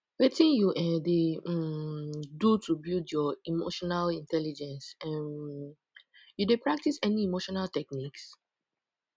wetin you um dey um do to build your emotional intelligence um you dey practice any emotional techniques